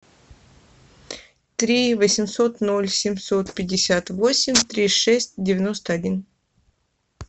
три восемьсот ноль семьсот пятьдесят восемь три шесть девяносто один